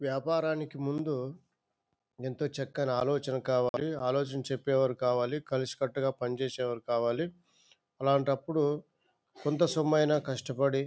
వ్యాపారానికి ముందు ఎంతో చక్కని ఆలోచన కావాలి. ఆలోచన చెప్పే వారు కావాలి. కలిసి కట్టుగా పని చేసే వాళ్ళు కావాలి. అలాంటప్పుడు కొంత సొమ్మైన కష్టపడి--